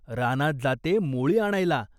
रानात जाते मोळी आणायला.